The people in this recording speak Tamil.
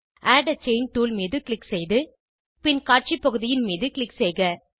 ஆட் ஆ செயின் டூல் மீது க்ளிக் செய்து பின் காட்சி பகுதியின் மீது க்ளிக் செய்க